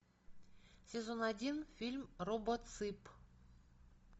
сезон один фильм робоцып